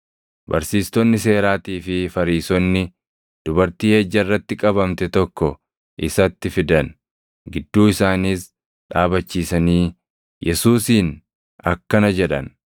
Barsiistonni seeraatii fi Fariisonni dubartii ejja irratti qabamte tokko isatti fidan. Gidduu isaaniis dhaabachiisanii,